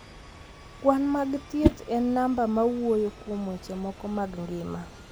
Kwan mag thieth en namba ma wuoyo kuom weche moko mag ngima.